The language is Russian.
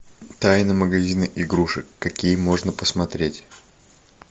тайна магазина игрушек какие можно посмотреть